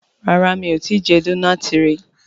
ràrá mi'o tí jé Dónáátì rí.